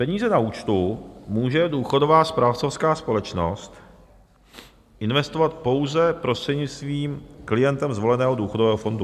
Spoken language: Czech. Peníze na účtu může důchodová správcovská společnost investovat pouze prostřednictvím klientem zvoleného důchodové fondu.